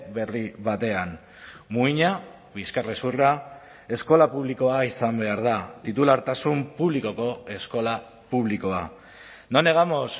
berri batean muina bizkarrezurra eskola publikoa izan behar da titulartasun publikoko eskola publikoa no negamos